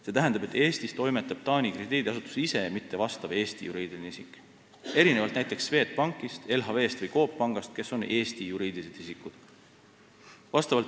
See tähendab, et Eestis toimetab Taani krediidiasutus ise, mitte vastav Eesti juriidiline isik – erinevalt näiteks Swedbankist, LHV-st või Coop Pangast, kes on Eesti juriidilised isikud.